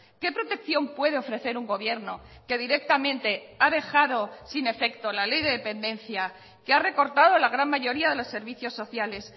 qué protección puede ofrecer un gobierno que directamente ha dejado sin efecto la ley de dependencia que ha recortado la gran mayoría de los servicios sociales